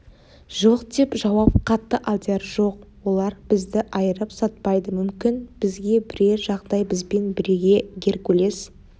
жоқ деп жауап қатты алдияр жоқ олар бізді айырып сатпайды мүмкін бізге бірер жағдай бізбен бірге геркулес